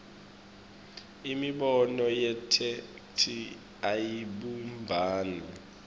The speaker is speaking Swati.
imibono yetheksthi ayibumbani